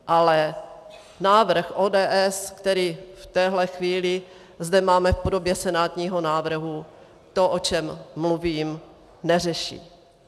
Ale návrh ODS, který v téhle chvíli zde máme v podobě senátního návrhu, to, o čem mluvím, neřeší.